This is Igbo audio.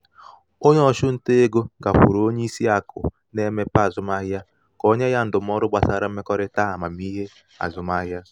onye ọchụnta ego gakwuru onye isi akụ na-emepe azụmaahịa ka o nye ya ndụmọdụ gbasara mmekọrịta amamihe azụmahịa.